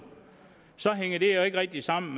hænger det jo ikke rigtig sammen